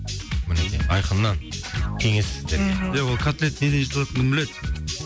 мінекей айқыннан кеңес сіздерге мхм ия ол котлет неден жасалатынын кім біледі